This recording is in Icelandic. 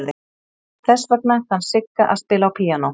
Þess vegna kann Sigga að spila á píanó.